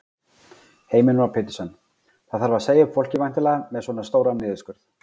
Heimir Már Pétursson: Það þarf að segja upp fólki væntanlega, með svona stóran niðurskurð?